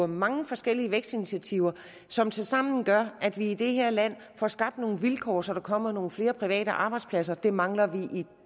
mange forskellige vækstinitiativer som tilsammen gør at vi i det her land får skabt nogle vilkår så der kommer nogle flere private arbejdspladser det mangler vi i